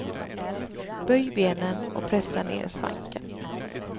Böj benen och pressa ner svanken.